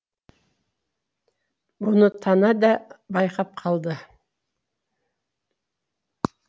бұны тана да байқап қалды